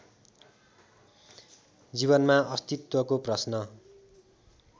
जीवनमा अस्तित्वको प्रश्न